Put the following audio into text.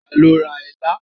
Ta lo ra ilá?